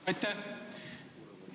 Aitäh!